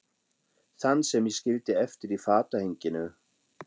Þann sem ég skildi eftir í fatahenginu.